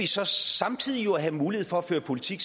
så samtidig at have mulighed for at føre politik